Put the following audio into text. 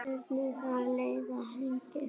Hvernig fann það leiðina hingað?